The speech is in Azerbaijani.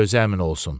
Özü əmin olsun.